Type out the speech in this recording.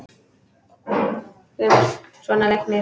GRÍMUR: Svona læknir.